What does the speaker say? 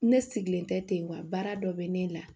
Ne sigilen tɛ ten wa baara dɔ bɛ ne la